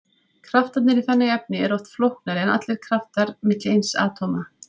Kraftarnir í þannig efni eru oft flóknari en kraftar milli eins atóma.